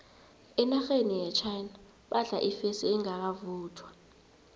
enarheni yechina badla ifesi engakavuthwa